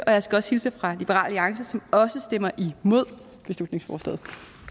og jeg skal også hilse fra liberal alliance som også stemmer imod beslutningsforslaget